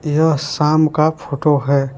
यह साम का फोटो है।